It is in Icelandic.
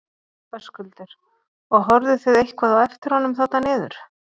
Höskuldur: Og horfðuð þið eitthvað á eftir honum þarna niður?